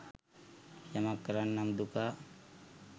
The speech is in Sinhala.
යමක් කරන්නම් දුකා